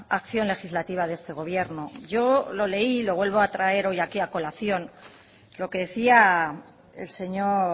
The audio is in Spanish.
acción legislativa de este gobierno yo lo leí y lo vuelvo a traer hoy aquí a colación lo que decía el señor